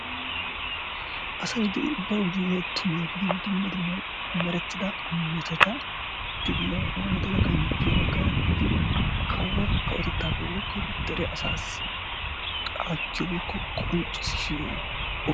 asay diya bawu de'iya tumaa gidin dumma dumma meretida metota de'iya wodala ganjjiya bagaara gidin kawo kawotettaakko woykko dere asaassi aattiyo woykko qonccissiyo oge